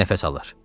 Nəfəs alır.